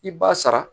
I b'a sara